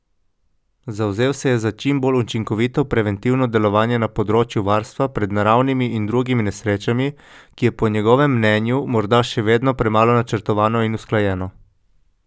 Zavzel se je za čim bolj učinkovito preventivno delovanje na področju varstva pred naravnimi in drugimi nesrečami, ki je po njegovem mnenju morda še vedno premalo načrtovano in usklajeno.